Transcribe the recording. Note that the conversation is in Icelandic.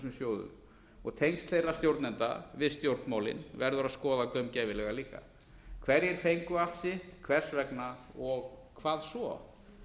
þessum sjóðum og tengsl þeirra stjórnenda við stjórnmálin verður að skoða gaumgæfilega líka hver fengu allt sitt hvers vegna og hvað svo